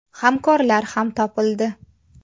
Hamkorlar ham topildi.